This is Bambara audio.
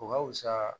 O ka fusa